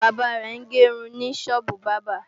Bàbá rẹ̀ ń ge irun ní sọ́ọ́bù bábà